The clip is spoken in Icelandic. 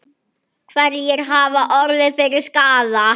Hverjir hafa orðið fyrir skaða?